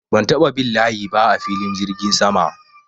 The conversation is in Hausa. Ban taɓa bin layi ba a filin jirgin sama.